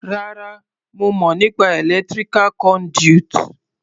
Rárá, mo mọ̀ nípa electrical conduit.